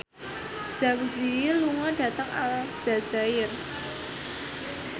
Zang Zi Yi lunga dhateng Aljazair